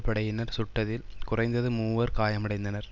படையினர் சுட்டதில் குறைந்தது மூவர் காயமடைந்தனர்